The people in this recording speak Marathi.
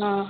हां